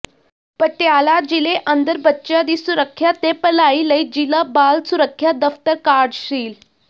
ਪਟਿਆਲਾ ਜ਼ਿਲ੍ਹੇ ਅੰਦਰ ਬੱਚਿਆਂ ਦੀ ਸੁਰੱਖਿਆ ਤੇ ਭਲਾਈ ਲਈ ਜ਼ਿਲ੍ਹਾ ਬਾਲ ਸੁਰੱਖਿਆ ਦਫ਼ਤਰ ਕਾਰਜਸ਼ੀਲ